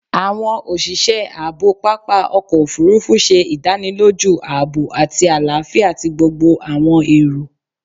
Awọn oṣiṣẹ aabo papa ọkọ ofurufu ṣe idaniloju aabo ati alafia ti gbogbo awọn ero